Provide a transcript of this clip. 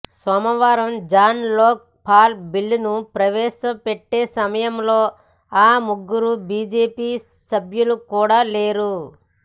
సోమవారం జన్ లోక్ పాల్ బిల్లును ప్రవేశ పెట్టే సమయంలో ఆ ముగ్గురు బీజేపీ సభ్యులు కూడా లేరు